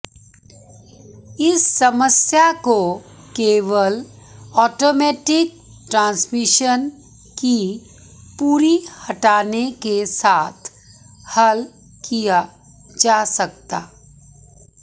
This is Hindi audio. इस समस्या को केवल ऑटोमैटिक ट्रांसमिशन की पूरी हटाने के साथ हल किया जा सकता